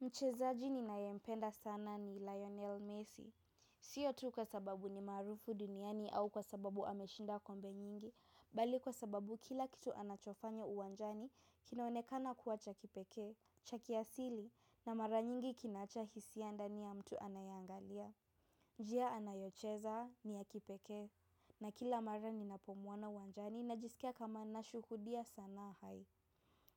Mchezaji ninaye mpenda sana ni Lionel Messi. Sio tu kwa sababu ni maarufu duniani au kwa sababu ameshinda kombe nyingi, bali kwa sababu kila kitu anachofanya uwanjani kinaonekana kuwa cha kipekee, cha kiasili na mara nyingi kinaacha hisia ndani ya mtu anaye angalia. Njia anayocheza ni ya kipekee, na kila mara ninapomwona uwanjani najisikia kama nashuhudia sanaa hai.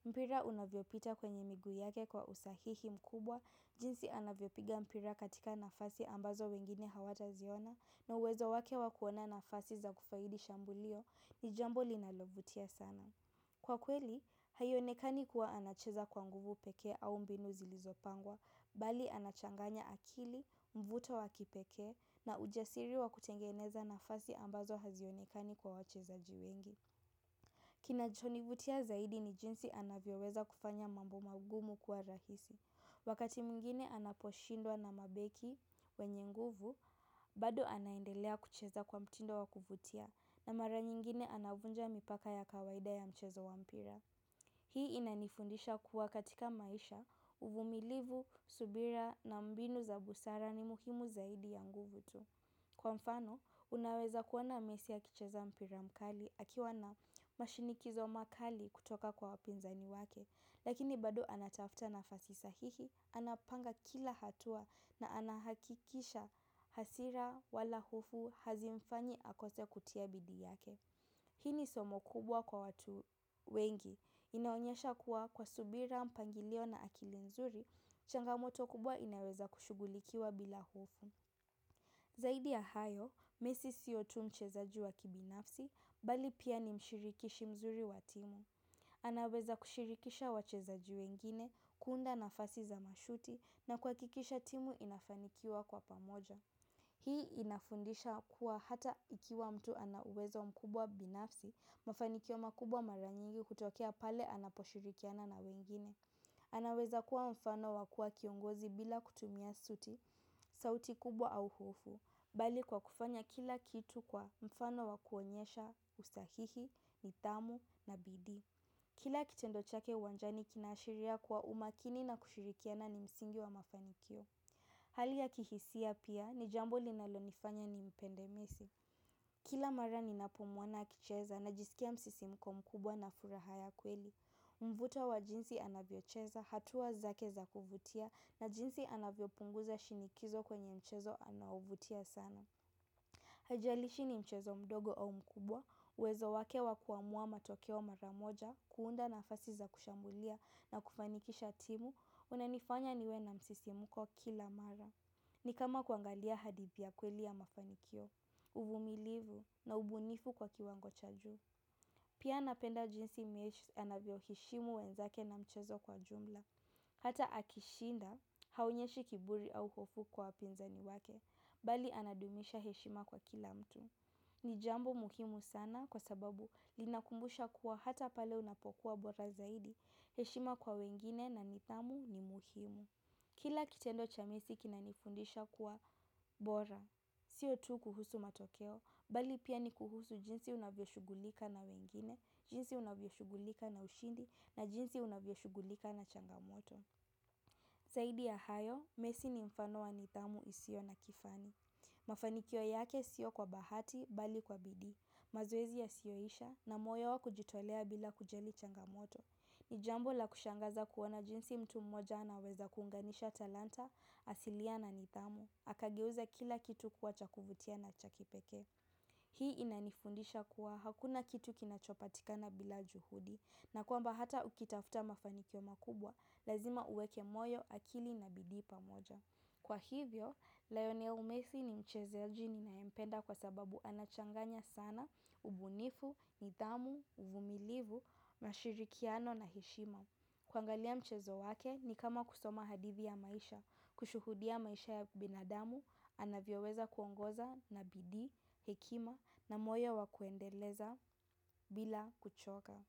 Mpira unavyopita kwenye miguu yake kwa usahihi mkubwa jinsi anavyopiga mpira katika nafasi ambazo wengine hawataziona na uwezo wake wa kuona nafasi za kufaidi shambulio ni jambo linalovutia sana. Kwa kweli, haionekani kuwa anacheza kwa nguvu pekee au mbinu zilizopangwa, bali anachanganya akili, mvuto wa kipeke na ujasiri wa kutengeneza nafasi ambazo hazionekani kwa wacheza wengi. Kinachonivutia zaidi ni jinsi anavyoweza kufanya mambo magumu kuwa rahisi. Wakati mwingine anaposhindwa na mabeki wenye nguvu, bado anaendelea kucheza kwa mtindo wa kuvutia na mara nyingine anavunja mipaka ya kawaida ya mchezo wa mpira. Hii inanifundisha kuwa katika maisha, uvumilivu, subira na mbinu za busara ni muhimu zaidi ya nguvu tu. Kwa mfano, unaweza kuona mesi akicheza mpira mkali akiwa na mashinikizo makali kutoka kwa wapinzani wake, lakini bado anatafuta nafasi sahihi, anapanga kila hatua na anahakikisha hasira wala hofu hazimfanyi akose kutia bidii yake. Hii ni somo kubwa kwa watu wengi, inaonyesha kuwa kwa subira mpangilio na akili nzuri, changamoto kubwa inaweza kushugulikiwa bila hofu. Zaidi ya hayo, mesi siyo tu mchezaji wakibinafsi, bali pia ni mshirikishi mzuri wa timu. Anaweza kushirikisha wachezaji wengine, kuunda nafasi za mashuti na kuhakikisha timu inafanikiwa kwa pamoja. Hii inafundisha kuwa hata ikiwa mtu ana uwezo mkubwa binafsi, mafanikio makubwa mara nyingi hutokea pale anaposhirikiana na wengine. Anaweza kuwa mfano wa kuwa kiongozi bila kutumia suti sauti kubwa au hofu, bali kwa kufanya kila kitu kwa mfano wakuonyesha usahihi, nidhamu na bidii. Kila kitendo chake uwanjani kinaashiria kwa umakini na kushirikiana ni msingi wa mafanikio. Hali ya kihisia pia ni jambo linalonifanya ni mpende Messi. Kila mara ninapomwona akicheza najisikia msisimko mkubwa na furaha ya kweli. Mvuto wa jinsi anavyocheza hatua zake za kuvutia na jinsi anavyo punguza shinikizo kwenye mchezo anauvutia sana. Haijalishi ni mchezo mdogo au mkubwa, uwezo wake wa kuamua matokeo mara moja, kuunda nafasi za kushambulia na kufanikisha timu, unanifanya niwe na msisimuko kila mara. Ni kama kuangalia hadithi ya kweli ya mafanikio, uvumilivu na ubunifu kwa kiwango cha juu. Pia napenda jinsi Messi anavyoheshimu wenzake na mchezo kwa jumla. Hata akishinda, haonyeshi kiburi au hofu kwa wapinzani wake, bali anadumisha heshima kwa kila mtu. Ni jambo muhimu sana kwa sababu linakumbusha kuwa hata pale unapokuwa bora zaidi heshima kwa wengine na nidhamu ni muhimu. Kila kitendo cha Messi kinanifundisha kuwa bora. Sio tu kuhusu matokeo, bali pia ni kuhusu jinsi unavyoshugulika na wengine, jinsi unavyoshughulika na ushindi, na jinsi unavyoshugulika na changamoto. Zaidi ya hayo, mesi ni mfano wa nidhamu isiyo na kifani. Mafanikio yake sio kwa bahati, bali kwa bidii mazoezi yasiyoisha na moyo wa kujitolea bila kujali changamoto. Ni jambo la kushangaza kuona jinsi mtu mmoja anaweza kuunganisha talanta asilia na nidhamu. Akageuza kila kitu kuwa cha kuvutia na cha kipekee. Hii inanifundisha kuwa hakuna kitu kinachopatikana bila juhudi. Na kwamba hata ukitafta mafanikio makubwa lazima uweke moyo akili na bidii pamoja. Kwa hivyo, Lionel Messi ni mchezaji ninaye mpenda kwa sababu anachanganya sana, ubunifu, nidhamu, uvumilivu, mashirikiano na heshima. Kuangalia mchezo wake ni kama kusoma hadithi ya maisha, kushuhudia maisha ya binadamu, anavyoweza kuongoza na bidii, hekima na moyo wa kuendeleza bila kuchoka.